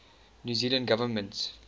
new zealand government